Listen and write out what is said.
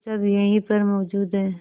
वे सब यहीं पर मौजूद है